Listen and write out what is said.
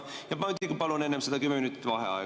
Ja ma muidugi palun enne seda 10 minutit vaheaega.